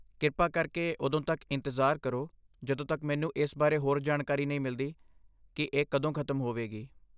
ਕਿਰਪਾ ਕਰਕੇ ਉਦੋਂ ਤੱਕ ਇੰਤਜ਼ਾਰ ਕਰੋ ਜਦੋਂ ਤੱਕ ਮੈਨੂੰ ਇਸ ਬਾਰੇ ਹੋਰ ਜਾਣਕਾਰੀ ਨਹੀਂ ਮਿਲਦੀ ਕਿ ਇਹ ਕਦੋਂ ਖਤਮ ਹੋਵੇਗੀ।